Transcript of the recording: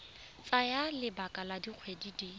tsaya lebaka la dikgwedi di